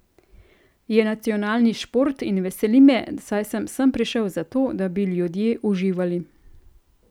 Je nacionalni šport in veseli me, saj se sem prišel zato, da bi ljudje uživali.